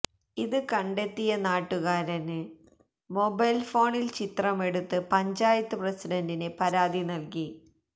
ഇത് കണ്ടെത്തിയ നാട്ടുകാരന് മൊബൈല് ഫോണില് ചിത്രമെടുത്ത് പഞ്ചായത്ത് പ്രസിഡണ്ടിന് പരാതി നല്കി